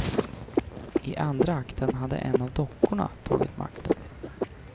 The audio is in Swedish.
I andra akten hade en av dockorna tagit makten.